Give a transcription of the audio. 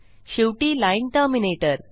शेवटी line terminator